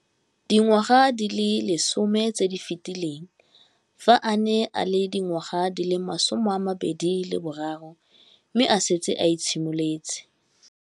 Dingwaga di le 10 tse di fetileng, fa a ne a le dingwaga di le 23 mme a setse a itshimoletse.